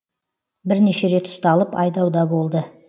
бірнеше рет ұсталып айдауда болды